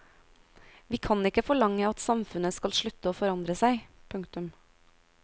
Vi kan ikke forlange at samfunnet skal slutte å forandre seg. punktum